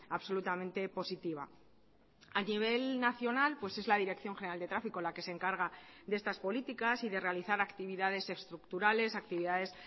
absolutamente positiva a nivel nacional pues es la dirección general de tráfico la que se encarga de estas políticas y de realizar actividades estructurales actividades